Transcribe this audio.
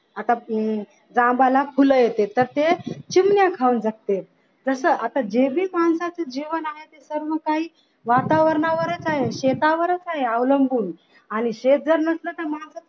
आता जांभळा फुले येतात तर ते चिमण्या खाऊन जाते तस जे नाही आता माणसाचे जीवन आहे ते सर्व काही वातावरणावरच आहे शेतावरच आहे अवलंबून आणि शेत जर नसलं तर मग